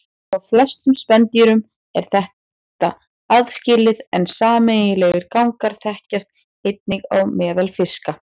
Hjá flestum spendýrum er þetta aðskilið en sameiginlegir gangar þekkjast einnig á meðal fiska.